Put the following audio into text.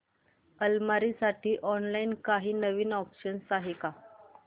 अलमारी साठी ऑनलाइन काही नवीन ऑप्शन्स आहेत का